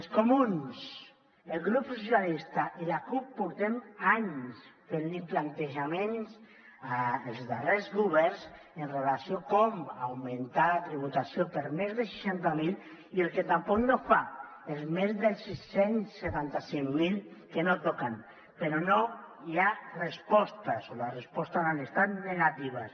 els comuns el grup socialistes i la cup portem anys fent plantejaments als darrers governs amb relació a com augmentar la tributació per a més de seixanta miler i el que tampoc no fa als més de sis cents i setanta cinc mil que no toquen però no hi ha respostes o les respostes han estat negatives